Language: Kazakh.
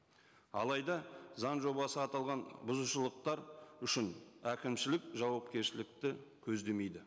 алайда заң жобасы аталған бұзушылықтар үшін әкімшілік жауапкершілікті көздемейді